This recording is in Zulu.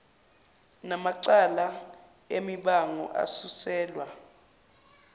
namacala emibango asuselwa